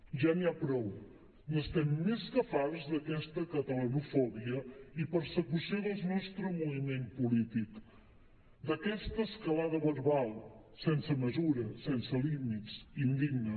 ja n’hi ha prou n’estem més que farts d’aquesta catalanofòbia i persecució del nostre moviment polític d’aquesta escalada verbal sense mesura sense límits indigna